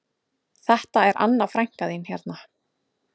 Þetta er Anna frænka þín hérna